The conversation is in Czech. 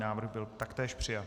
Návrh byl taktéž přijat.